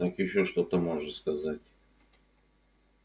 так ещё что-то можешь сказать